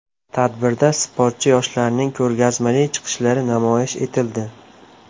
Tadbirda sportchi yoshlarning ko‘rgazmali chiqishlari namoyish etildi.